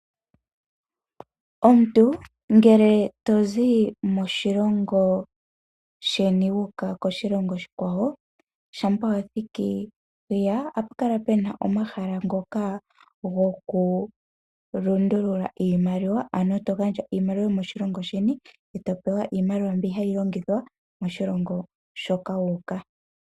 Omuntu ngele tozi moshilongo sheni wuuka moshilongo oshikwawo shampa wa thiki hiya ohapu kala puna omahala ngoka gokulundulula iimaliwa ano togandja iimaliwa yomoshilongo sheni eeto topewa yomoshilongo moka wuuka.